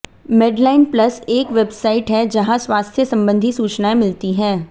Medline plus एक website है जहाँ स्वास्थ्य सम्बन्धी सूचनाएँ मिलती हैं